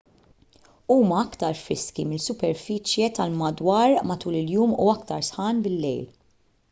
huma aktar friski mis-superfiċje tal-madwar matul il-jum u aktar sħan bil-lejl